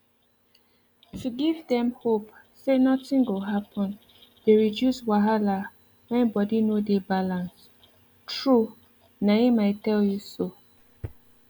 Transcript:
to give dem hope sey nothing go happen dey reduce wahala when body no dey balance true na em i tell you so